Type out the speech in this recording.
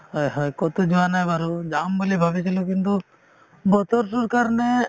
হয় হয় কতো যোৱা নাই বাৰু যাম বুলি ভাবিছিলো কিন্তু বতৰতো কাৰণে